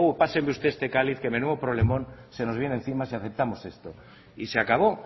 páseme usted este cáliz que menudo problemón se nos viene encima si aceptamos esto y se acabó